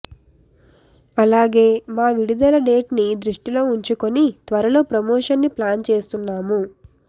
అలాగే మా విడుదల డేట్ ని దృష్టిలో వుంచుకుని త్వరలో ప్రమెషన్ ని ప్లాన్ చేస్తున్నాము